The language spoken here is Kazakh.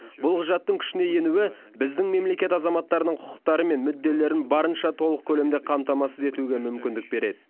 бұл құжаттың күшіне енуі біздің мемлекет азаматтарының құқықтары мен мүдделерін барынша толық көлемде қамтамасыз етуге мүмкіндік береді